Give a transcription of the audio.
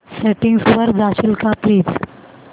settings वर जाशील का प्लीज